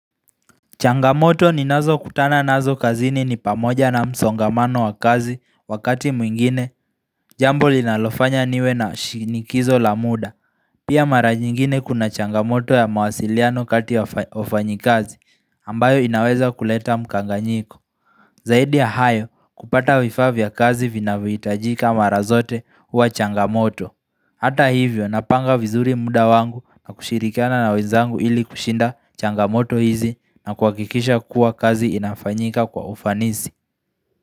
Changamoto ninazokutana nazo kazini ni pamoja na msongamano wa kazi wakati mwingine, jambo linalofanya niwe na shinikizo la muda, pia mara nyingine kuna changamoto ya mawasiliano kati ya wa wafanyikazi ambayo inaweza kuleta mkanganyiko. Zaidi ya hayo kupata vifaa vya kazi vina vyohitajika mara zote huwa changamoto. Hata hivyo napanga vizuri muda wangu na kushirikana na wezangu ili kushinda changamoto hizi na kwa kikisha kuwa kazi inafanyika kwa ufanisi.